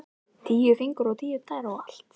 Tíu fingur og tíu tær og allt.